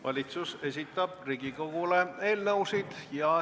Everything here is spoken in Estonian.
Valitsus esitab Riigikogule eelnõusid.